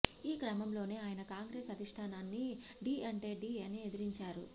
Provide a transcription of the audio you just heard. ఈ క్రమంలోనే ఆయన కాంగ్రెస్ అధిష్టానాన్ని ఢీ అంటే ఢీ అని ఎదిరించారు